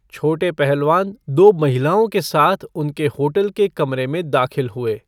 छोटे पहलवान दो महिलाओं के साथ उनके होटल के कमरे में दाखिल हुए।